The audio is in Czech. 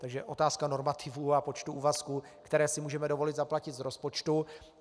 Takže otázka normativů a počtu úvazků, které si můžeme dovolit zaplatit z rozpočtu.